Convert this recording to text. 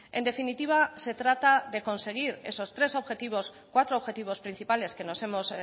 en definitiva se trata de conseguir esos cuatro objetivos principales que nos hemos